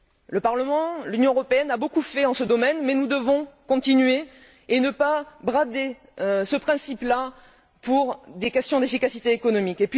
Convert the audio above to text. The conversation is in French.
Le Parlement, l'Union européenne a beaucoup fait dans ce domaine mais nous devons continuer et ne pas brader ce principe là pour des questions d'efficacité économique.